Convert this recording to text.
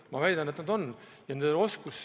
Mina väidan, et nad on.